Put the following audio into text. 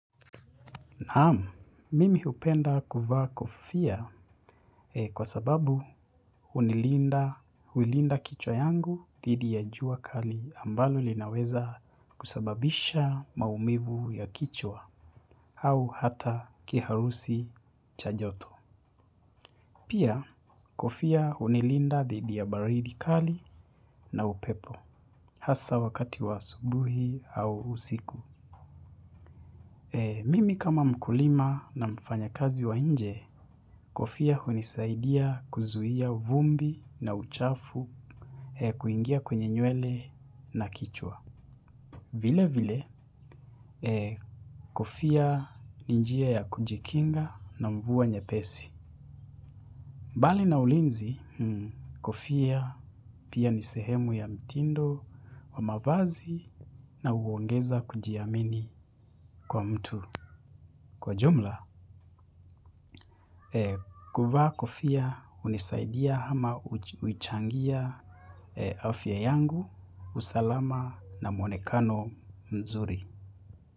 Naamu, mimi hupenda kuvaa kofia kwa sababu hunilinda hulinda kichwa yangu dhidi ya jua kali ambalo linaweza kusababisha maumivu ya kichwa au hata kiharusi cha joto. Pia kofia hunilinda dhidi ya baridi kali na upepo hasa wakati wa asubuhi au usiku. Mimi kama mkulima na mfanya kazi wa nje kofia hunisaidia kuzuia vumbi na uchafu kuingia kwenye nyewele na kichwa. Vile vile, kofia ni njia ya kujikinga na mvua nyepesi. Bali na ulinzi, kofia pia ni sehemu ya mtindo wa mavazi na huongeza kujiamini kwa mtu. Kwa jumla, kuvaa kufia hunisaidia ama huchangia afya yangu, usalama na mwonekano mzuri.